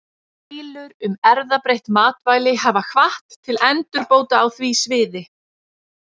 Deilur um erfðabreytt matvæli hafa hvatt til endurbóta á því sviði.